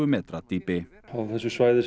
metra dýpi á þessu svæði